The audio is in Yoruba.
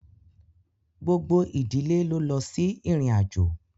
Gbogbo ìdílé ló lọ sí ìrìnàjò